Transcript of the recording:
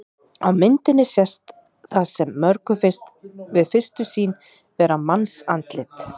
Á myndinni sést það sem mörgum finnst við fyrstu sýn vera mannsandlit.